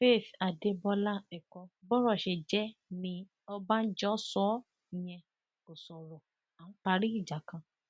faith adébọlá ẹkọ bọrọ ṣe jẹ ní ọbànjọ ṣó o yẹn kò sọrọ à ń parí ìjà kan